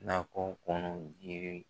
Nakɔ kɔnɔ jiri.